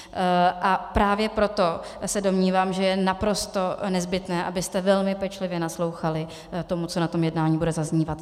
A právě proto se domnívám, že je naprosto nezbytné, abyste velmi pečlivě naslouchali tomu, co na tom jednání bude zaznívat.